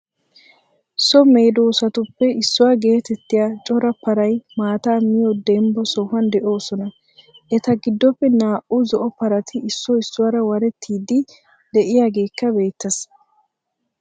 So meedossatuppe issuwaa geetettiya cora paraay maataa miyo dembbaa sohuwan de7osona. eta giddoppe naa7uu zo7o paraati issoy issuwaraa waretiydi de7iyageekka beettees.